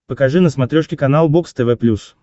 покажи на смотрешке канал бокс тв плюс